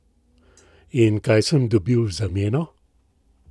In kaj sem dobil v zameno?